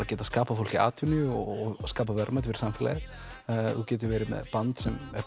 geta skapað fólki atvinnu og skapað verðmæti fyrir samfélagið þú getur verið með band sem er